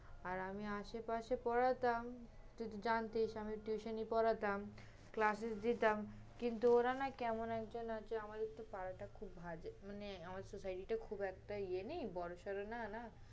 আর আমি আশেপাশে পড়াতাম, তুই তো জানতিস আমি tuition ই পড়াতাম, class এ যেতাম। কিন্তু ওরা না কেমন একজন মানে আমাদের পাড়াটা খুব একটা ভালো, মানে আমাদের soceity টা খুব একটা ইয়ে নেই, বড় সড় না না?